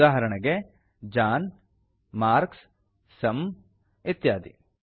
ಉದಾಹರಣೆಗೆ John marks sum ಇತ್ಯಾದಿ